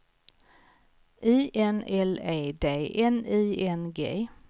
I N L E D N I N G